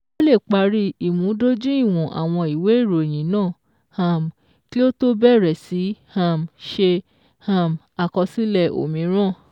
Ó lè parí ìmúdójúìwọ̀n àwọn ìwé ìròyìn náà um kí ó tó bẹ̀rẹ̀ sí um ṣe um àkọsílẹ̀ òmíràn.